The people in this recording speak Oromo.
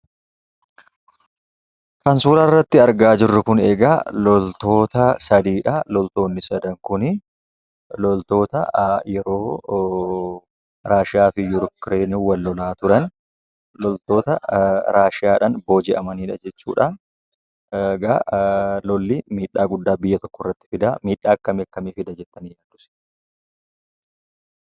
Kan suuraarratti argaa jirru eegaa, loltoota sadiidha. Loltoonni sadan kuni, loltoota yeroo Raashiyaafi Yukireen wal-loolaa turan, loltoota Raashiyaadhaan booji'amaniidha jechuudha. Eegaa lolli miidhaa guddaa biyya tokkotti fida. Miidhaa akkamii akkamii fida?